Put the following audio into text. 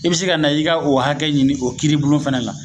I bi se ka na i ka o hakɛ ɲini o kiiribulon fɛnɛ na